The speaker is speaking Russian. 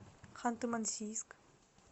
ханты мансийск